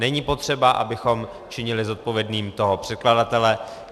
Není potřeba, abychom činili zodpovědným toho překladatele.